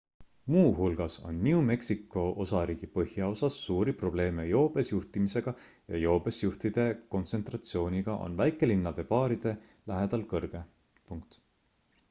muuhulgas on new mexico osariigi põhjaosas suuri probleeme joobes juhtimisega ja joobes juhtide kontsentratsioon on väikelinnade baaride lähedal kõrge